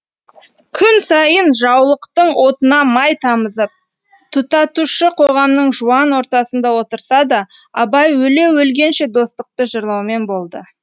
күн сайын жаулықтың отына май тамызып тұтатушы қоғамның жуан ортасында отырса да абай өле өлгенше достықты жырлаумен болды